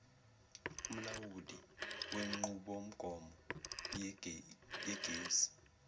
umlawuli wenqubomgomo yegesi